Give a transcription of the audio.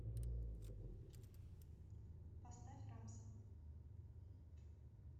поставь рамса